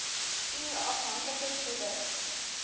u afhanklikes bewus